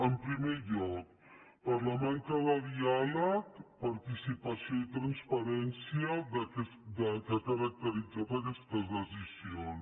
en primer lloc per la manca de diàleg participació i transparència que ha caracteritzat aquestes decisions